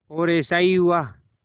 और ऐसा ही हुआ